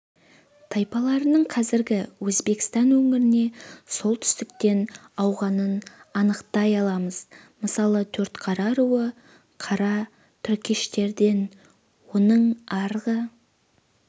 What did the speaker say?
тайпаларының қазіргі өзбекстан өңіріне солтүстіктен ауғанын анықтай аламыз мысалы төртқара руы қара түркештерден оның арғы